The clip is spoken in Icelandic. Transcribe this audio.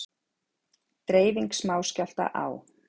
Dreifing smáskjálfta á